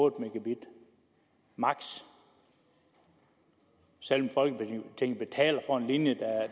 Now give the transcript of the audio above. en mbit maks selv om folketinget betaler for en linje